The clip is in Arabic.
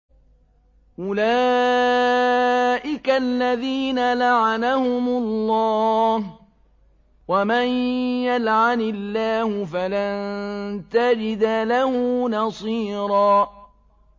أُولَٰئِكَ الَّذِينَ لَعَنَهُمُ اللَّهُ ۖ وَمَن يَلْعَنِ اللَّهُ فَلَن تَجِدَ لَهُ نَصِيرًا